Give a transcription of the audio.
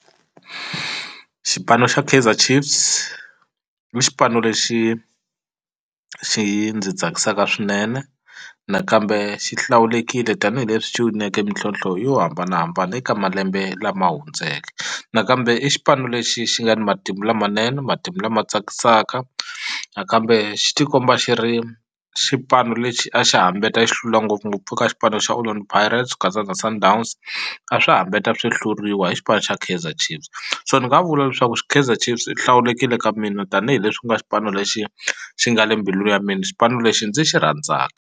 Xipano xa Kaizer Chiefs i xipano lexi xi ndzi tsakisaka swinene nakambe xi hlawulekile tanihileswi xi wineke mintlhlonthlo yo hambanahambana eka malembe lama hundzeke nakambe i xipano lexi xi nga ni matimu lamanene matimu lama tsakisaka nakambe xi tikomba xi ri xipano lexi a xi hambeta xi hlula ngopfungopfu eka xipano xa Orlando Pirates ku katsa na Sundowns a swi hambeta swi hluriwa hi xipano xa Kaizer Chiefs so ni nga vula leswaku Kaizer Chiefs yi hlawulekile ka mina tanihileswi ku nga xipano lexi xi nga le mbilu ya mina xipano lexi ndzi xi rhandza.